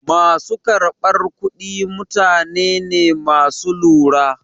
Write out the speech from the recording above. Ma su karɓar kuɗi mutane ne ma su lura.